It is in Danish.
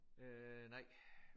Øh nej